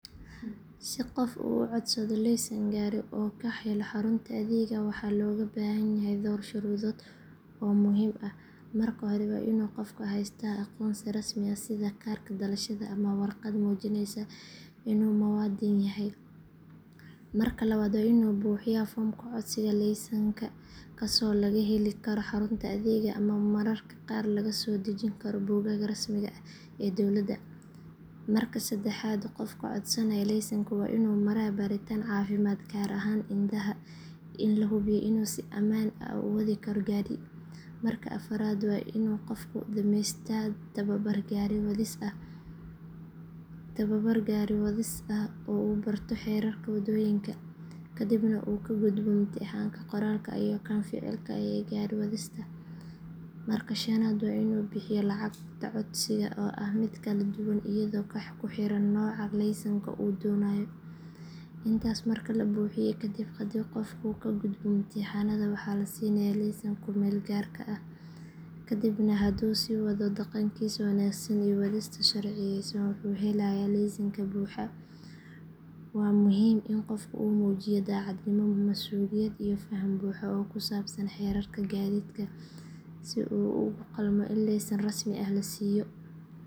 Si qof uu u codsado laysan gaari oo uu ka helo xarunta adeegga, waxaa looga baahan yahay dhowr shuruudood oo muhiim ah. Marka hore, waa inuu qofku haystaa aqoonsi rasmi ah sida kaarka dhalashada ama warqad muujinaysa inuu muwaadin yahay. Marka labaad, waa inuu buuxiyaa foomka codsiga laysanka kaasoo laga heli karo xarunta adeegga ama mararka qaar laga soo dejisan karo bogagga rasmiga ah ee dowladda. Marka saddexaad, qofka codsanaya laysanka waa inuu maraa baaritaan caafimaad gaar ahaan indhaha si loo hubiyo inuu si amaan ah u wadi karo gaari. Marka afraad, waa inuu qofku dhameeystaa tababar gaari wadis ah oo uu barto xeerarka waddooyinka, kadibna uu ka gudbo imtixaanka qoraalka ah iyo kan ficilka ah ee gaari wadista. Marka shanaad, waa inuu bixiyo lacagta codsiga oo ah mid kala duwan iyadoo ku xiran nooca laysanka uu doonayo. Intaas marka la buuxiyo kadib, haddii qofku ka gudbo imtixaannada waxaa la siinayaa laysanka ku meel gaarka ah, kadibna hadduu sii wado dhaqankiisa wanaagsan iyo wadista sharciyaysan wuxuu helayaa laysanka buuxa. Waa muhiim in qofku uu muujiyaa daacadnimo, masuuliyad iyo faham buuxa oo ku saabsan xeerarka gaadiidka si uu ugu qalmo in laysan rasmi ah la siiyo.